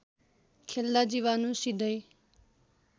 खेल्दा जीवाणु सिधै